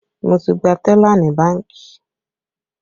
Mo ti gba tẹ́là ní bánkì